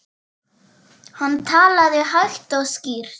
Hann talaði hægt og skýrt.